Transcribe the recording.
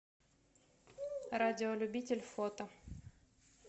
радиолюбитель фото